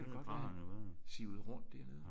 Det kan jo godt være. Sivede rundt dernede